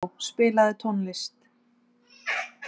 Gógó, spilaðu tónlist.